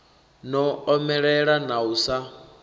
no omelela na u sa